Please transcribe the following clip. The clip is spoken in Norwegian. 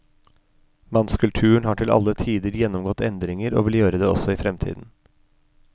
Mannskulturen har til alle tider gjennomgått endringer og vil gjøre det også i fremtiden.